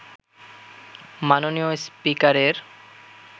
মাননীয় স্পিকারের